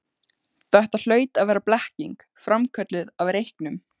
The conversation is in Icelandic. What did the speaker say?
Þetta hlaut að vera blekking, framkölluð af reyknum.